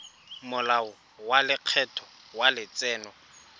molao wa lekgetho wa letseno